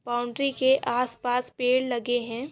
Boundary के आस पास पेड़ लगे है।